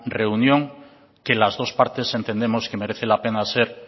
reunión que las dos partes entendemos que merece la pena ser